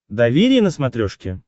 доверие на смотрешке